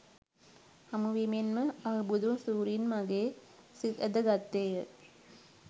හමුවීමෙන් ම අහුබුදු සූරීන් මගේ සිත් ඇද ගත්තේය.